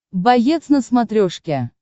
боец на смотрешке